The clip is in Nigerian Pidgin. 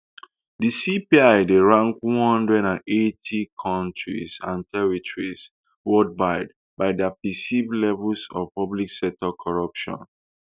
di cpi dey rank one hundred and eighty kontris and territories worldwide by dia perceived levels of public sector corruption